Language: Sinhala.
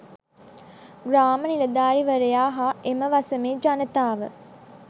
ග්‍රාම නිලධාරීවරයා හා එම වසමේ ජනතාව